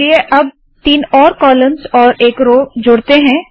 चलिए अब तीन और कॉलम्स और एक रोव जोड़ते है